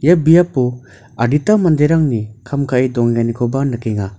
ia biapo adita manderangni kam ka·e dongenganikoba nikenga.